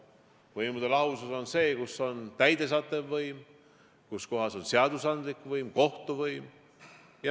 Võimude lahusus näeb ette, kus on täidesaatev võim, kus on seadusandlik võim, kus on kohtuvõim.